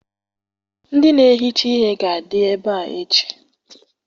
Ndị na-ehicha ihe ga-adị ebe a echi.